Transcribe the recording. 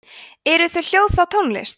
eru þau hljóð þá tónlist